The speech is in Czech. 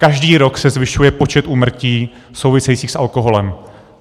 Každý rok se zvyšuje počet úmrtí souvisejících s alkoholem.